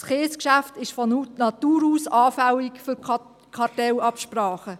Das Kiesgeschäft ist von Natur aus anfällig für Kartellabsprachen.